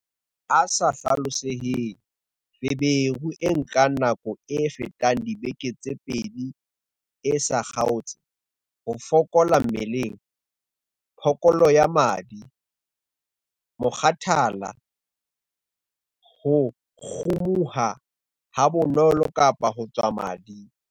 A sa hlaloseheng- Feberu e nkang nako e fetang dibeke tse pedi e sa kgaotse, ho fokola mmeleng, phokolo ya madi, mokgathala, ho kgumuha habonolo kapa ho tswa madi.